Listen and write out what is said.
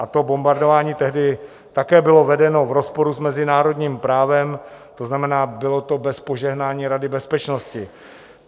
A to bombardování tehdy také bylo vedeno v rozporu s mezinárodním právem, to znamená, bylo to bez požehnání Rady bezpečnosti.